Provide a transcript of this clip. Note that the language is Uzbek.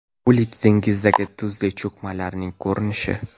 O‘lik dengizdagi tuzli cho‘kmalarning ko‘rinishi.